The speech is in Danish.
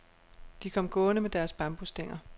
De kom gående med deres bambusstænger.